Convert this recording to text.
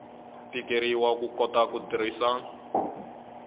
tikeriwa ku kota ku tirhisa